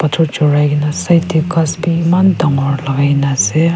jorai ke na ase etu ghass be eman dangor lagai ke na ase.